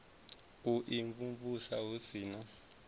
u imvumvusa hu si na